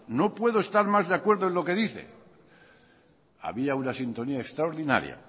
no puedo estar más de acuerdo en lo que dice había una sintonía extraordinaria